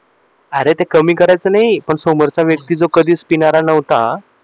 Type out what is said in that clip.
अरे ते कमी करायचं नाही पण समोरचा व्यक्ती जो कधीच पिणारा नव्हता